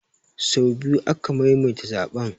Say biyu aka maimaita zaɓen